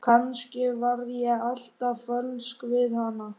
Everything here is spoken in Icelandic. Kannski var ég alltaf fölsk við hann!